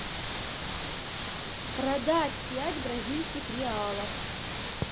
продать пять бразильских реалов